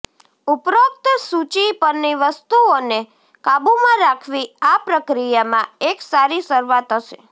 ઉપરોક્ત સૂચિ પરની વસ્તુઓને કાબુમાં રાખવી આ પ્રક્રિયામાં એક સારી શરૂઆત હશે